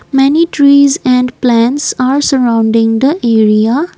many trees and plants are surrounding the area.